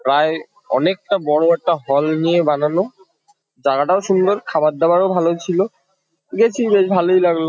প্রায় অনেকটা বড়ো একটা হল নিয়ে বানানো। জাগাটাও সুন্দর খাবার-দাবারও ভালো ছিল। গেছি বেশ ভালোই লাগলো ।